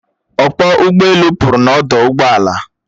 Ọkpọ ụgbọelu pụrụ n'ọdụ ụgbọala